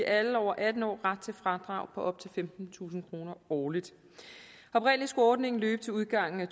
alle over atten år ret til fradrag på op til femtentusind kroner årligt oprindelig skulle ordningen løbe til udgangen af